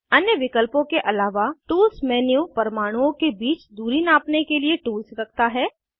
अन्य विकल्पों के आलावा टूल्स मेन्यू परमाणुओं के बीच दूरी नापने के लिए टूल्स रखता है